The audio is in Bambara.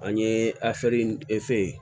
An ye efe